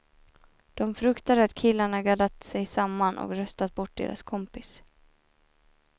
De fruktade att killarna gaddat sig samman och röstat bort deras kompis.